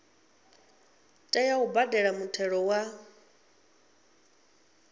tea u badela muthelo wa